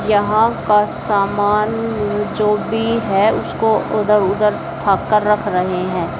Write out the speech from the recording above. यहां का सामान जो भी है उसको इधर उधर उठा कर रख रहे हैं।